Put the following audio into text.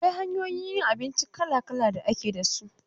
Akwai hanyoyin yin abinci kala-kala da ake da su.